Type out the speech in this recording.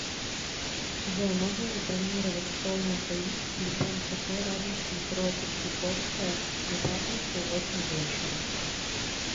джой можно забронировать стол на двоих в любом кафе рядом с метро третьяковская на пятницу восемь вечера